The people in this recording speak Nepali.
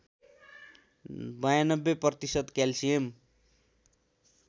९२ प्रतिशत क्याल्सियम